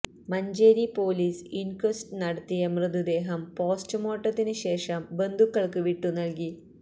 Manjeri police inquest നടത്തിയ മൃതദേഹം പോസ്റ്റുമോര്ട്ടത്തിന് ശേഷം ബന്ധുക്കള്ക്ക് വിട്ടു നൽകി